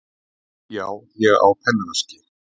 Já, ég á pennaveski.